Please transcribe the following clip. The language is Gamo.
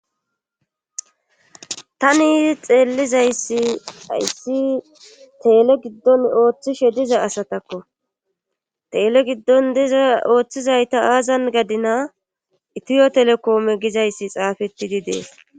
tani xeellizayssi hayssi teele giddon ooththishe diza asatakko teele giddon diza ooththizayta aazan gadina itiyo telekoome gizayssi xaafettidi de'es